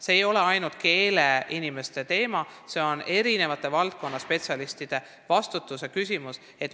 See ei ole ainult keeleinimeste teema, see on eri valdkondade spetsialistide vastutuse küsimus.